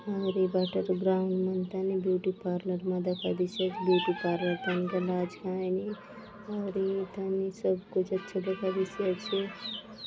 आउर ये बाटर ग्राउंड मन थाने ब्यूटी पार्लर मा दखा देयसि आचे ब्यूटी पार्लर थाने गला आचे कायने आउरी ये थाने सब कुछ अच्छा दखा देयसि आचे।